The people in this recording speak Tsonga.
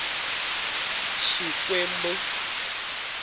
xikwembu